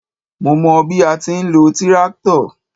Mó mọ bí a ti ń lo tíráktọ̀.